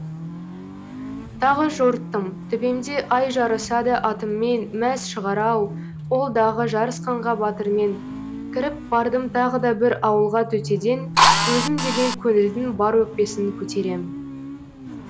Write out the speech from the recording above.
тағы жорттым төбемде ай жарысады атыммен мәз шығар ау ол дағы жарысқанға батырмен кіріп бардым тағы да бір ауылға төтеден өзім деген көңілдің бар өкпесін көтерем